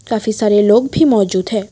काफी सारे लोग भी मौजूद है।